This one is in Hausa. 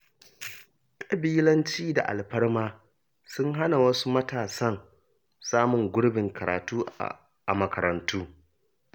Ƙabilanci da alfarma sun hana wasu matasan samun gurbin karatu a makarantu.